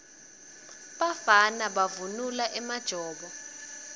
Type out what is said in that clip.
bafana bavunula emajobo